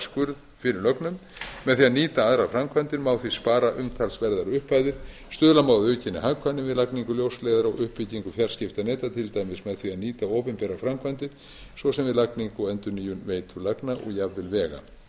skurð fyrir lögnum með því að nýta aðrar framkvæmdir má því spara umtalsverðar upphæðir stuðla má að aukinni hagkvæmni við lagningu ljósleiðara og uppbyggingu fjarskiptaneta til dæmis með því að nýta opinberar framkvæmdir svo sem við lagningu og endurnýjun veitulagna og jafnvel vega þegar